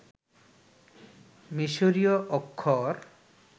মিশরীয় অক্ষর